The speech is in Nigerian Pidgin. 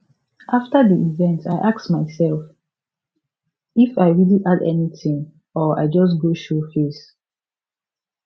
after di event i ask myself if i really add anything or i just go show face